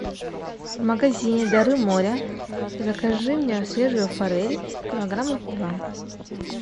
в магазине дары моря закажи мне свежую форель килограмма два